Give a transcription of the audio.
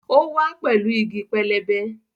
Ó wá pẹ̀lú igi pẹlẹbẹ